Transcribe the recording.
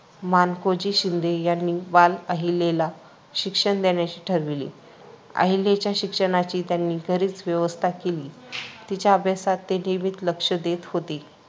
मानकोजी शिंदे यांनी बाल अहिल्येला शिक्षण देण्याचे ठरविले. अहिल्येच्या शिक्षणाची त्यांनी घरीच व्यवस्था केली. तिच्या अभ्यासात ते नियमित लक्ष देत होते.